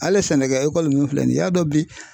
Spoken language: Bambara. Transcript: Hali sɛnɛkɛ ekɔli min filɛ nin ye y'a dɔn bi